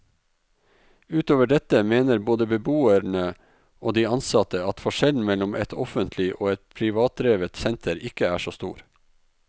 Utover dette mener både beboerne og de ansatte at forskjellen mellom et offentlig og et privatdrevet senter ikke er så stor.